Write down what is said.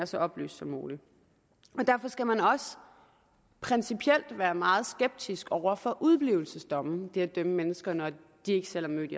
så oplyst som muligt derfor skal man også principielt være meget skeptisk over for udeblivelsesdomme altså det at dømme mennesker når de ikke selv er mødt